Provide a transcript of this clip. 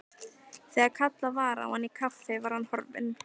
Þegar kallað var á hann í kaffi var hann horfinn.